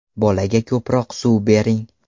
Bolaga ko‘proq suv bering.